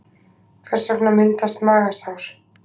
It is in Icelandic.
Hvers vegna myndast magasár?